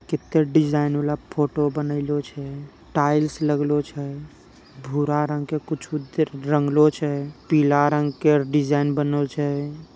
कित्ते डिज़ाइन वाला फोटो बनैलो छे टाइल्स लगलो छे भूरा रंग के कुछु रंगलो छे पीला रंग के डिज़ाइन बनल छे।